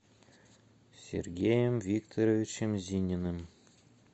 сергеем викторовичем зининым